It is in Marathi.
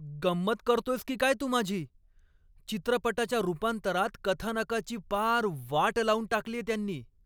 गंमत करतोयस की काय तू माझी? चित्रपटाच्या रूपांतरात कथानकाची पार वाट लावून टाकलीये त्यांनी.